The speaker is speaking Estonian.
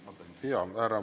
Jaa, härra minister!